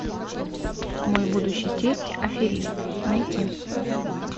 мой будущий тесть аферист найти